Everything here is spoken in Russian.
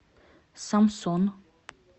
самсон